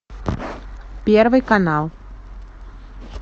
первый канал